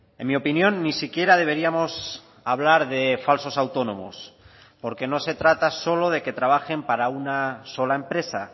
en mi opinión ni siquiera deberíamos hablar de falsos autónomos porque no se trata solo de que trabajen para una sola empresa